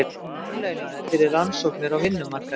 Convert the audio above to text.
Verðlaunaðir fyrir rannsóknir á vinnumarkaði